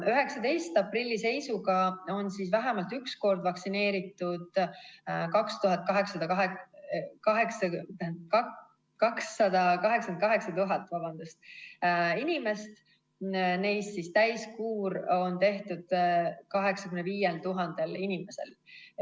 19. aprilli seisuga on vähemalt üks kord vaktsineeritud 288 000 inimest, neist täiskuur on tehtud 85 000 inimesel.